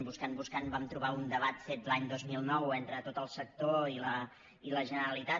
buscant buscant vam trobar un debat fet l’any dos mil nou entre tot el sector i la generalitat